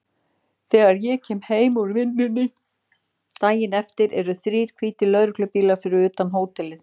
Þegar ég kem heim úr vinnunni daginn eftir eru þrír hvítir lögreglubílar fyrir utan hótelið.